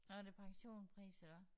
Nå er det pensionpris eller hvad?